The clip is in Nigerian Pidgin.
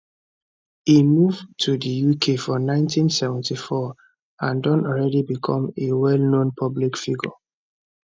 e move to di uk for 1974 and don already become a wellknown public figure